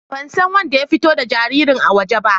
Ban san wanɗa ya fito da jaririn a waje ba.